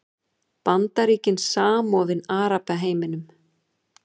Bandaríkin samofin Arabaheiminum